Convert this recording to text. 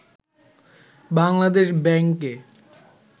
বাংলাদেশ ব্যাংকে